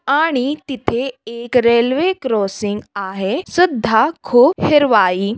आणि तिथे एक रेल्वे क्रॉसिंग आहे सुद्धा खूप हिरवाई--